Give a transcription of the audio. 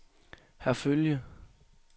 Herfølge